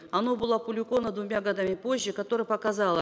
оно было опубликовано двумя годами позже которое показало